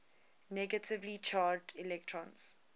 negatively charged electrons